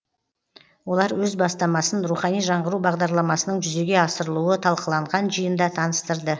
олар өз бастамасын рухани жаңғыру бағдарламасының жүзеге асырылуы талқыланған жиында таныстырды